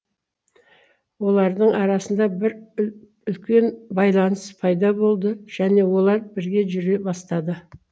олардың арасында бір үлкен байланыс пайда болды және олар бірге жүре бастады